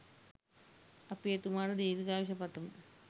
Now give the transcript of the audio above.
අප එතුමාට දීර්ඝායුෂ පතමු